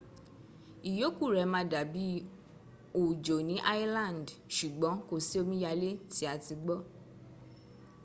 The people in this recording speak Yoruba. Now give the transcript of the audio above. ìyókù rẹ̀ má dàbí òjò ní island ṣùgbọ́n kòsí omiyalé tí a ti gbọ́